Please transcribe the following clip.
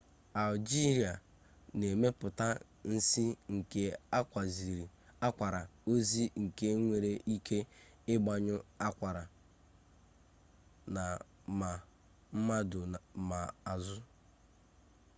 algee na-emepụta nsi nke akwara ozi nke nwere ike ịgbanyụ akwara na ma mmadụ ma azụ